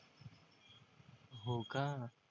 होका